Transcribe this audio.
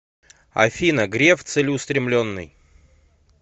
афина греф целеустремленный